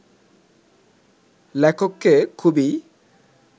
লেখককে খুবই